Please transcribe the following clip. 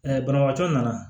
banabagatɔ nana